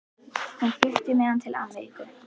Hún flutti með hann til Ameríku.